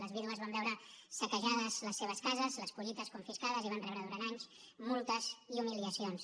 les vídues van veure saquejades les seves cases les collites confiscades i van rebre durant anys multes i humiliacions